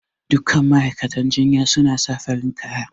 Duk kan ma'aikatan jinya suna sa farin kaya